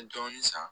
N ye dɔɔnin san